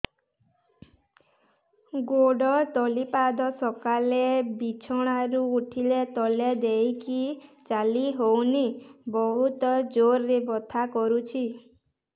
ଗୋଡ ତଳି ପାଦ ସକାଳେ ବିଛଣା ରୁ ଉଠିଲେ ତଳେ ଦେଇକି ଚାଲିହଉନି ବହୁତ ଜୋର ରେ ବଥା କରୁଛି